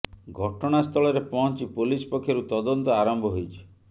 ଘଟଣା ସ୍ଥଳରେ ପହଞ୍ଚି ପୋଲିସ ପକ୍ଷରୁ ତଦନ୍ତ ଆରମ୍ଭ ହୋଇଛି